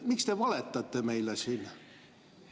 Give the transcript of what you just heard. Miks te valetate meile siin?